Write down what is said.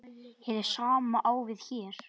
Hið sama á við hér.